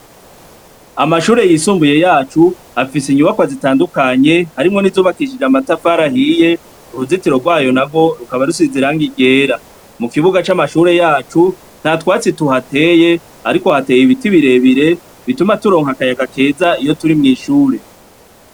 Amashure yisumbuye yacu afise inyubako zitandukanye harimwo n'izubakishije amatafarahiye uruzitiro rwayo na rwo rukaba rusiziranga igera mu kibuga c'amashure yacu nta twatsi tuhateye, ariko hateye ibiti birebire bituma turonka akayaga keza iyo turi mw'ishure.